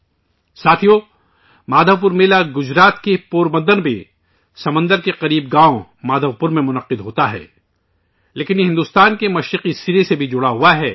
ساتھیو ، مادھو پور میلہ گجرات کے پوربندر میں سمندر کے پاس مادھو پور گاؤں میں لگتا ہے لیکن اس کا بھارت کے مغربی کنارے سے بھی ناطا جڑا ہوا ہے